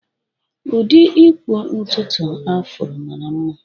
Ụdị ịkpụ ntutu Afro mara mma